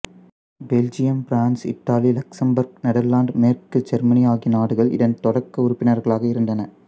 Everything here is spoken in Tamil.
Belgium France Italy Luxembourg Netherlands மேற்கு செருமனி ஆகிய நாடுகள் இதன் தொடக்க உறுப்பினர்களாக இருந்தன